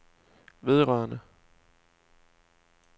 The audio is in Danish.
vedrørende